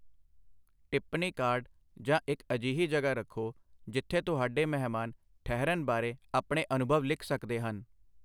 ਟਿੱਪਣੀ ਕਾਰਡ ਜਾਂ ਇੱਕ ਅਜਿਹੀ ਜਗ੍ਹਾ ਰੱਖੋ ਜਿੱਥੇ ਤੁਹਾਡੇ ਮਹਿਮਾਨ ਠਹਿਰਨ ਬਾਰੇ ਆਪਣੇ ਅਨੁਭਵ ਲਿਖ ਸਕਦੇ ਹਨ।